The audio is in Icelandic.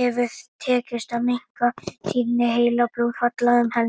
hefur tekist að minnka tíðni heilablóðfalla um helming.